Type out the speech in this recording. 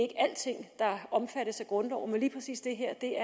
alting der omfattes af grundloven men lige præcis det her er